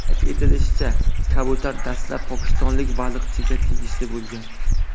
Qayd etilishicha, kabutar dastlab pokistonlik baliqchiga tegishli bo‘lgan.